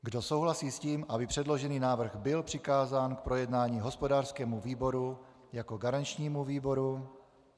Kdo souhlasí s tím, aby předložený návrh byl přikázán k projednání hospodářskému výboru jako garančnímu výboru?